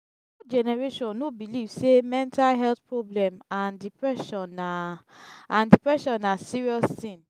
old generation no believe sey mental health problem and depression na and depression na serious thing